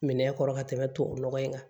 Minɛn kɔrɔ ka tɛmɛ tubabu nɔgɔ in kan